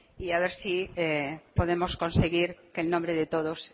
y a ver si podemos conseguir que el nombre de todos